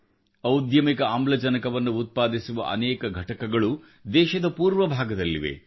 ಔದ್ಯಮಿಕ ಆಮ್ಲಜನಕವನ್ನು ಉತ್ಪಾದಿಸುವ ಅನೇಕ ಘಟಕಗಳು ದೇಶದ ಪೂರ್ವಭಾಗದಲ್ಲಿವೆ